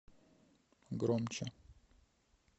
громче